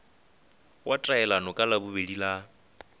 wa taelano ka labobedi la